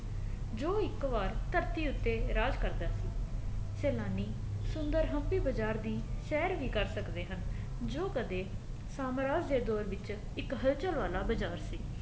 ਜੋ ਇੱਕ ਵਾਰ ਧਰਤੀ ਉੱਤੇ ਰਾਜ ਕਰਦਾ ਸੀ ਸੇਨਾਨੀ ਸੁੰਦਰ ਹਮਪੀ ਬਜ਼ਾਰ ਦੀ ਸ਼ਹਿਰ ਵੀ ਕਰ ਸਕਦੇ ਹਨ ਜੋ ਕਦੇ ਸਾਮਰਾਜ ਦੇ ਦੋਰ ਵਿੱਚ ਇੱਕ ਹਲਚਲ ਵਾਲਾ ਬਜ਼ਾਰ ਸੀ